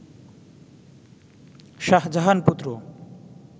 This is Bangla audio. শাহজাহান-পুত্র